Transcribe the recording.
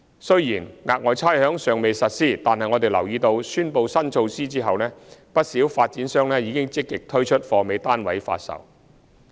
雖然額外差餉尚未實施，但我們留意到宣布新措施後，不少發展商積極推出"貨尾"單位發售。